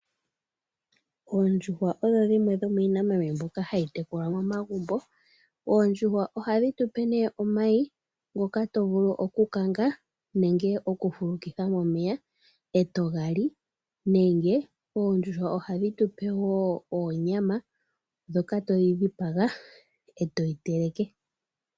Oondjuhwa odho dhimwe dhomiinamwenyonmbyoka hayi tekulwa momagumbo ondjuhwa ohadhi tupe nee omayi ngoka to vulu okukanga nenge okufulukitha momeya etogali nenge eendjuhwa ohadhi tupe wo oonyama moka toyi dhipaga etoyi teleke.